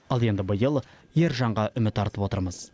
ал енді биыл ержанға үміт артып отырмыз